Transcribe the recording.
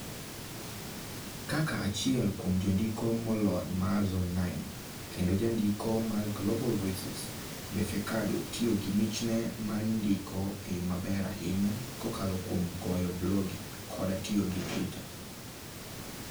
Kaka achiel kuom jondiko molony mar Zone9 kendo jandiko mar Global Voices, Befeqadu tiyo gi michne mar ndiko e yo maber ahinya kokalo kuom goyo blogi koda tiyo gi Twitter.